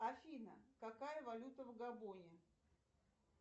афина какая валюта в габоне